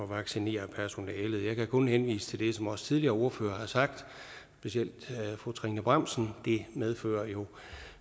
vaccinere personalet jeg kan kun henvise til det som også tidligere ordførere har sagt specielt fru trine bramsen det medfører jo